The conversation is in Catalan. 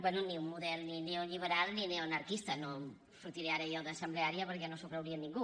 bé ni un model neoliberal ni neoanarquista no sortiré ara jo d’assembleària perquè no s’ho creuria ningú